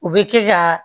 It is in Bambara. U bɛ kɛ ka